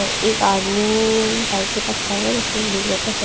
एक आदमी बाइक के पर खड़ा हुआ है जिसने ब्लू कलर का हे --